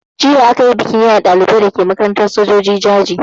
Jiya a kayi bikin yaye ɗalibai a makarantar sojoji dake Jaji.